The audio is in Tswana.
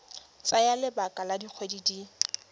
tsaya lebaka la dikgwedi di